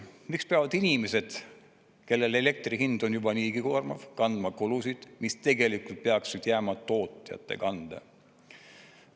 Miks peavad inimesed, kellele elektri hind on juba niigi koormav, kandma kulusid, mis tegelikult peaksid jääma tootjate kanda?